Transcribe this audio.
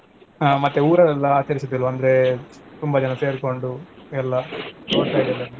ಹ ಮತ್ತೆ ಊರಲ್ಲೆಲ್ಲಾ ಆಚರಿಸೂದಿಲ್ವಾ ಅಂದ್ರೇ ತುಂಬಾ ಜನ ಸೇರ್ಕೊಂಡು ಎಲ್ಲಾ .